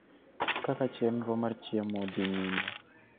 kaka chenro mar chiemo dhi nyime